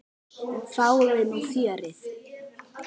Fáum við núna fjörið?